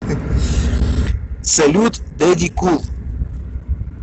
салют дэдди кул